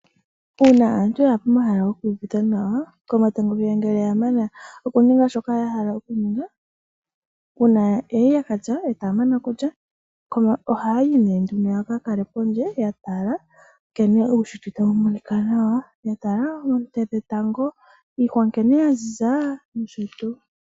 Uuna aantu yaya komahala goku iyuvitha nawa komatango ngele ya mana okuninga shoka ya hala okuninga. Uuna yali ya ka lya etaya mana okulya, ohaayi nee nduno ya ka kale pondje ya tala nkene uushitwe tawu monika nawa, ya tala oonte dhetango, iihwa nkene ya ziza nosho tuu.